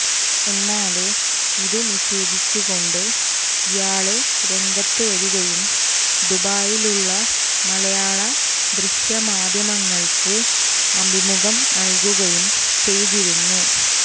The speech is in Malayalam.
എന്നാല് ഇതുനിഷേധിച്ചുകൊണ്ട് ഇയാള് രംഗത്തുവരികയും ദുബായിലുള്ള മലയാള ദൃശ്യമാധ്യമങ്ങള്ക്ക് അഭിമുഖം നല്കുകയും ചെയ്തിരുന്നു